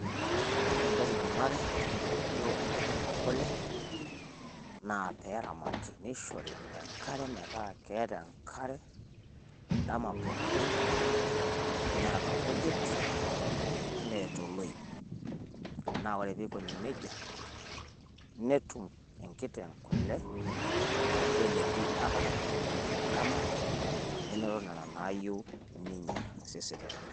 Ore entoki nanare enkitotio enkiteng' e kule naa pee eramati nishori enkare metaa keeta enkare endama pookin neeta inkujit neeta oloip. Naa ore pii ikoni nijia netum enkiteng' kule aaku kelepi ata katitin uni te endama amu enoto nena naayieu ninye tosesen lenye.